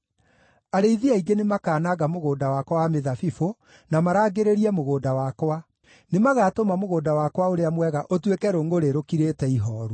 Arĩithi aingĩ nĩmakananga mũgũnda wakwa wa mĩthabibũ, na marangĩrĩrie mũgũnda wakwa; nĩmagatũma mũgũnda wakwa ũrĩa mwega ũtuĩke rũngʼũrĩ rũkirĩte ihooru.